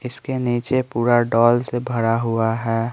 इसके नीचे पूरा डॉल से भरा हुआ है।